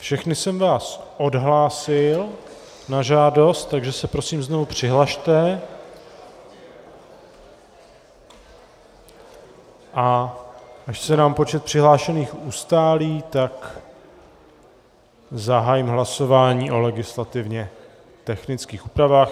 Všechny jsem vás odhlásil na žádost, takže se prosím znovu přihlaste, a až se nám počet přihlášených ustálí, tak zahájím hlasování o legislativně technických úpravách.